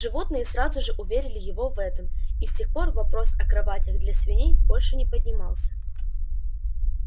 животные сразу же уверили его в этом и с тех пор вопрос о кроватях для свиней больше не поднимался